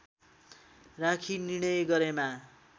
राखी निर्णय गरेमा